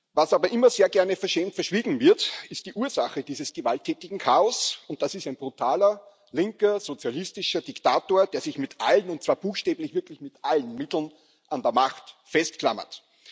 Was aber immer sehr gerne verschämt verschwiegen wird, ist die Ursache dieses gewalttätigen Chaos, und das ist ein brutaler linker, sozialistischer Diktator, der sich mit allen und zwar buchstäblich wirklich mit allen Mitteln an der Macht festklammert.